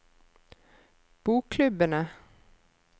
bokklubbene